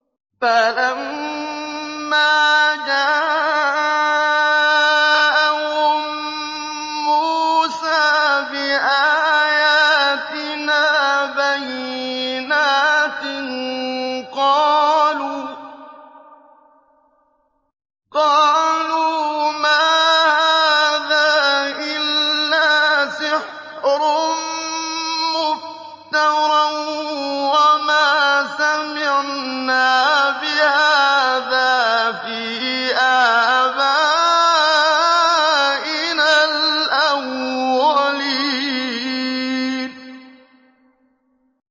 فَلَمَّا جَاءَهُم مُّوسَىٰ بِآيَاتِنَا بَيِّنَاتٍ قَالُوا مَا هَٰذَا إِلَّا سِحْرٌ مُّفْتَرًى وَمَا سَمِعْنَا بِهَٰذَا فِي آبَائِنَا الْأَوَّلِينَ